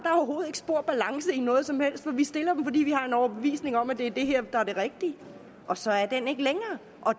spor balance i noget som helst for vi stiller dem fordi vi har en overbevisning om at det er det her der er det rigtige og så er den ikke længere